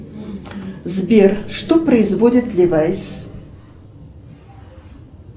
сбер что производит левайс